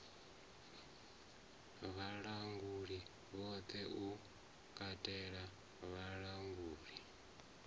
vhalanguli vhoṱhe u katela vhalanguli